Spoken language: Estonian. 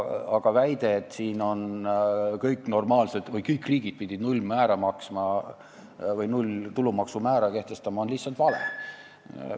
Aga väide, et kõik normaalsed või üldse kõik riigid on kehtestanud nullmääraga tulumaksu, on lihtsalt vale.